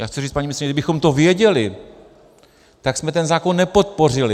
Já chci říct, paní ministryně, kdybychom to věděli, tak jsme ten zákon nepodpořili.